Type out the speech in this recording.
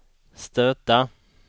stöta